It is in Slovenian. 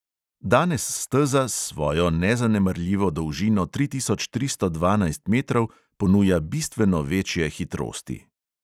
Danes steza s svojo nezanemarljivo dolžino tri tisoč tristo dvanajst metrov ponuja bistveno večje hitrosti.